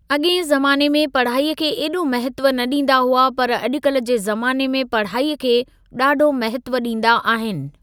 अॻिएं ज़माने में पढ़ाईअ खे एॾो महत्व न ॾींदा हुआ पर अॼुकल्ह जे ज़माने में पढ़ाईअ खे ॾाढो महत्व ॾींदा आहिनि।